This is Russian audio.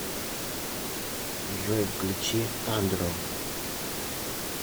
джой включи андро